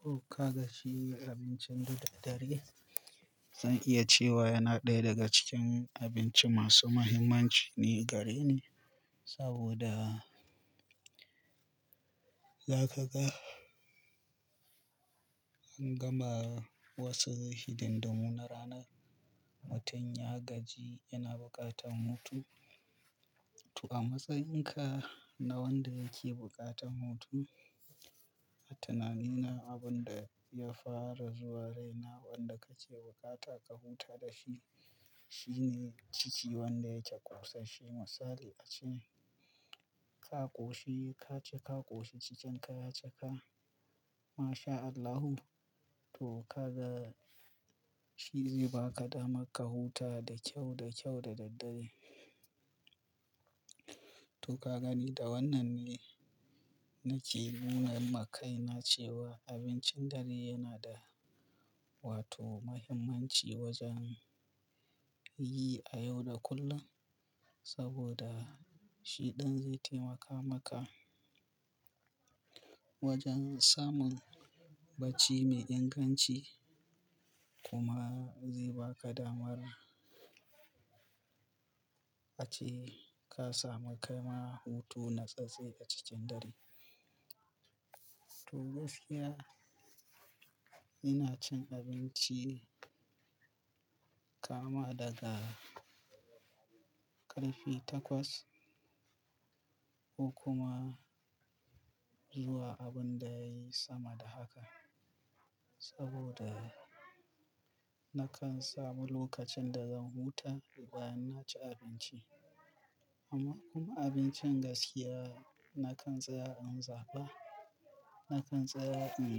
To ka ga shi abincin da dare zan iya cewa yana ɗaya daga cikin abinci masu mahimmanci ne gare ni saboda za ka ga an gama wasu hidin dimu na rana mutum ya gaji yana buƙatan hutu. To a matsayinka na wanda yake buƙatan hutu, a tunani na abun da ya fara zuwa raina wanda kake bukata ka huta da shi shine jiki wanda yake ƙosashshe. Misali ace ka ƙoshi ka ci, ka ƙoshi cikin ka ya cika. MashaAllahu to ka ga shi zai baka dama ka huta da kyau, da kyau da daddare. To ka gani da wannan ne nake nuna ma kai na cewa abincin dare yana da wato muhimmanci wajen yi a yau da kullum saboda shi ɗan zai taimaka maka wajen samun bacci mai inganci kuma zai baka damar ace ka samu kaima hutu na tsattse a cikin dare. To gaskiya ina cin abinci kama daga ƙarfe takwas ko kuma zuwa abun da yayi sama da haka saboda nakan samu lokacin da zan huta bayan na ci abinci. Amma kuma abincin gaskiya nakan tsaya in zaba, nakan tsaya in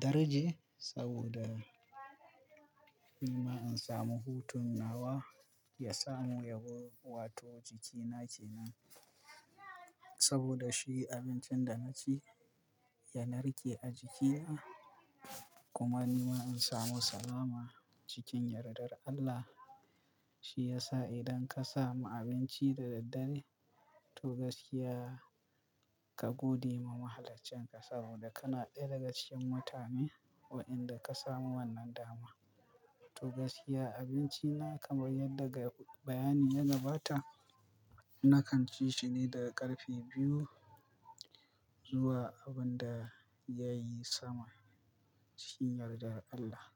darje saboda nima in samu hutun nawa ya samu yabo wato jikina kenan. Saboda shi abincin da na ci ya narke a jikina kuma nima in samu salama cikin yardar Allah. Shi yasa idan ka samu abinci da daddare to gaskiya ka gode ma Mahallaccinka saboda kana ɗaya daga cikin mutane wadanda ka samu wannan dama. To gaskiya abinci na kamar yadda ga bayani ya gabata nakan ci shi ne daga ƙarfe biyu zuwa abun da ya yi sama cikin yardar Allah.